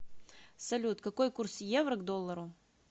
салют какой курс евро к доллару